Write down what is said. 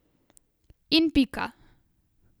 In pika.